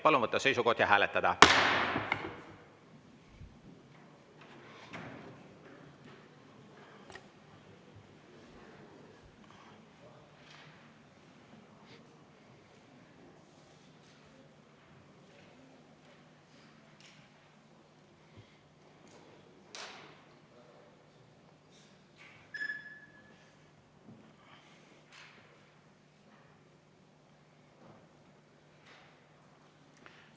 Palun võtta seisukoht ja hääletada!